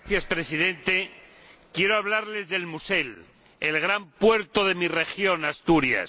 Señor Presidente, quiero hablarles de El Musel, el gran puerto de mi región, Asturias.